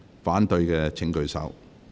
反對的請舉手。